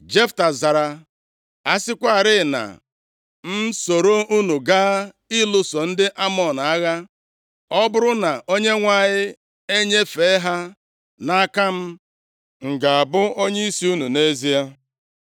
Jefta zara, “A sịkwarị na m esoro unu gaa lụso ndị Amọn agha, ọ bụrụ na Onyenwe anyị enyefee ha nʼaka m, m ga-abụ onyeisi unu nʼezie?”